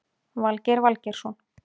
Valgeir Valgeirsson